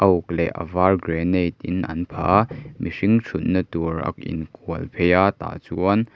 uk leh a var granite in an phah a mihing thutna tur ak in kual phei a tah chuan--